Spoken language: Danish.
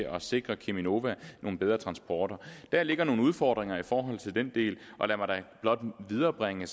at sikre cheminova nogle bedre transporter der ligger nogle udfordringer i forhold til den del og lad mig da blot viderebringe